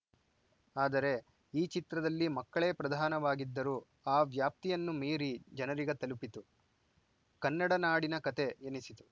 ಆದರೆ ಈ ಚಿತ್ರದಲ್ಲಿ ಮಕ್ಕಳೇ ಪ್ರಧಾನವಾಗಿದ್ದರೂ ಆ ವ್ಯಾಪ್ತಿಯನ್ನು ಮೀರಿ ಜನರಿಗೆ ತಲುಪಿತು ಕನ್ನಡನಾಡಿನ ಕತೆ ಎನಿಸಿತು